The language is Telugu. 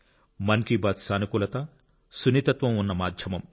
మన్ కి బాత్ సానుకూలత సున్నితత్వం ఉన్న మాధ్యమం